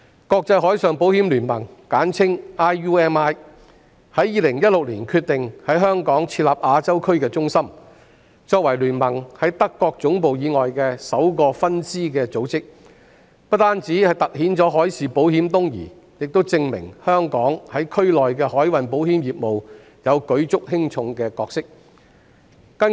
國際海上保險聯盟在2016年決定在香港設立亞洲區中心，作為聯盟在德國總部以外的首個分支組織，不但凸顯海事保險東移，亦證明香港在區內的海運保險業務擔當舉足輕重的角色。